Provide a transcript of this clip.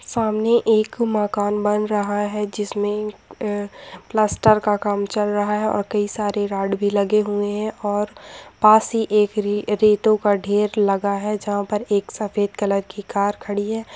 सामने एक मकान बन रहा है जिसमें अ प्लास्टर का काम चल रहा है और कई सारे रॉड भी लगे हुए हैं और पास ही एक री-रेतों का ढेर लगा है जहां पर एक सफेद कलर की कार खड़ी है।